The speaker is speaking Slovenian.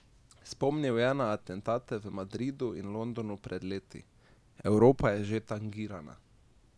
Spomnil je na atentate v Madridu in Londonu pred leti: "Evropa je že tangirana.